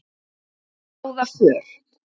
ráða för.